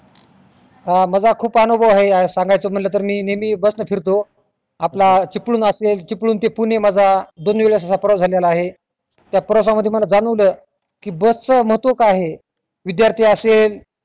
माझा खुप अनुभव आहे आह सांगायच म्हणलं तेर नेहमी बस ना फिरतो आपला चिपळूण असे चिपळूण ते पुणे माझा दोनी वेळेस मजा प्रवास झालेला आहे त्या प्रवास मध्ये मला जाणवलं कि बस च महत्व काय आहे विध्यार्थी असेल